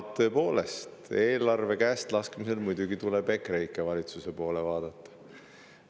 Tõepoolest, eelarve käestlaskmise suhtes tuleb muidugi EKREIKE valitsuse poole vaadata.